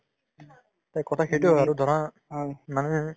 তে কথা সেইটোয়ে হয় আৰু ধৰা অ মানে